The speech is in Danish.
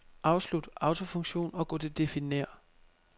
Afslut autofunktion og gå til definér.